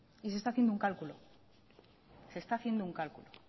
y se está haciendo un cálculo se está haciendo un cálculo